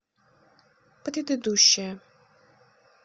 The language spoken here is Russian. предыдущая